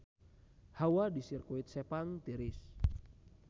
Hawa di Sirkuit Sepang tiris